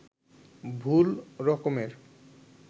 ভুল রকমের